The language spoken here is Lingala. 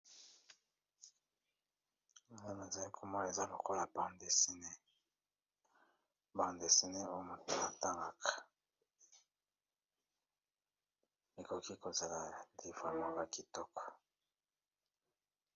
Awa nazali komona eza lokola bande desine oyo moto atangaka, ekoki kozala livre moko ya kitoko.